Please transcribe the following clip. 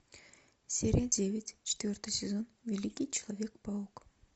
серия девять четвертый сезон великий человек паук